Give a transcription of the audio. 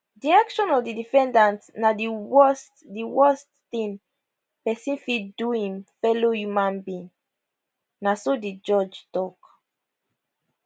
di action of di defendant na di worst di worst tin person fit do im fellow human being na so di judge tok